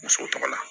Muso tɔgɔ la